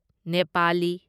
Nepali